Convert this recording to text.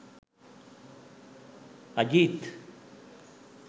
ajeeth